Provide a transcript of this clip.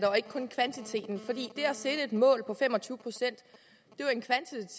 sætte et mål på fem og tyve procent